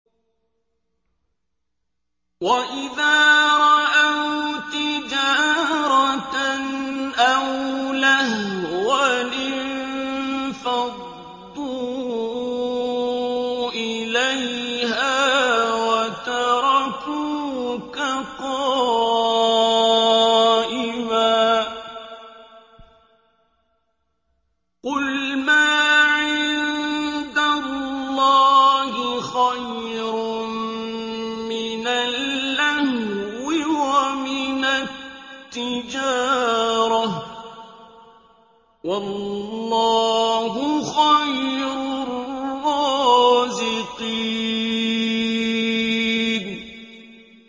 وَإِذَا رَأَوْا تِجَارَةً أَوْ لَهْوًا انفَضُّوا إِلَيْهَا وَتَرَكُوكَ قَائِمًا ۚ قُلْ مَا عِندَ اللَّهِ خَيْرٌ مِّنَ اللَّهْوِ وَمِنَ التِّجَارَةِ ۚ وَاللَّهُ خَيْرُ الرَّازِقِينَ